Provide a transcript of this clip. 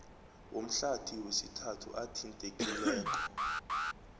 womhlathi wesithathu athintekileko